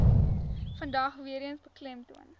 vandag weereens beklemtoon